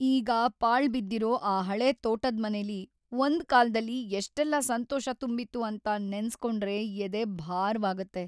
ಈಗ ಪಾಳ್ಬಿದ್ದಿರೋ ಆ ಹಳೇ ತೋಟದ್ಮನೆಲಿ ಒಂದ್ ಕಾಲ್ದಲ್ಲಿ ಎಷ್ಟೆಲ್ಲ ಸಂತೋಷ ತುಂಬಿತ್ತು ಅಂತ ನೆನ್ಸ್ಕೊಂಡ್ರೆ ಎದೆ ಭಾರವಾಗತ್ತೆ.